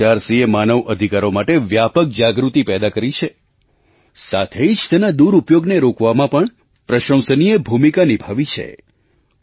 એનએચઆરસીએ માનવ અધિકારો માટે વ્યાપક જાગૃતિ પેદા કરી છે સાથે જ તેના દુરુપયોગને રોકવામાં પણ પ્રશંસનીય ભૂમિકા નિભાવી છે